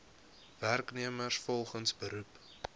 werknemers volgens beroep